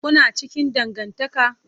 Kuna cikin dangantaka?